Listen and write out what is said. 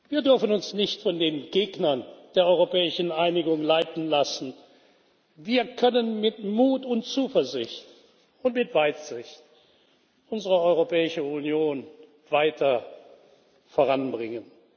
Wir dürfen uns nicht von den Gegnern der europäischen Einigung leiten lassen. Wir können mit Mut und Zuversicht und mit Weitsicht unsere Europäische Union weiter voranbringen.